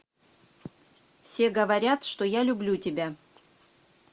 все говорят что я люблю тебя